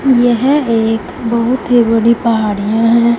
यह एक बहुत ही बड़ी पहाड़ियां हैं।